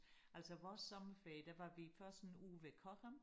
Altså vores sommerferie der var vi først en uge ved Cochem